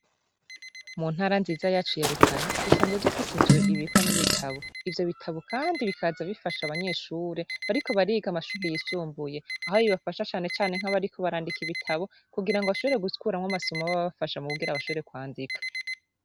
Mu ntara nziza yacu ya Rutana, dusanzwe dufite inzu ibikwamwo ibitabu ivyo bitabu kandi bikaza bifasha abanyeshure bariko bariga amashure yisumbuye ,aho bibafasha cane cane nkabariko barandika ibitabu kugira bashobore gubiremwo amasomo aba abafasha kugira bashobore kwandika.